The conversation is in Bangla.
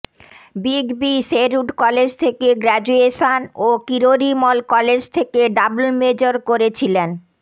বিগ বি শেরউড কলেজ থেকে গ্র্যাজুয়েশন ও কিরোরিমল কলেজ থেকে ডাবল মেজর করেছিলেন